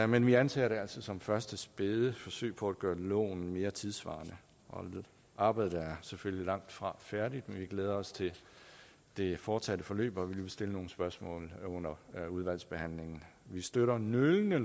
men vi anser det altså som et første spæde forsøg på at gøre loven mere tidssvarende arbejdet er selvfølgelig langtfra færdigt men vi glæder os til det fortsatte forløb og vi vil stille nogle spørgsmål under udvalgsbehandlingen vi støtter nølende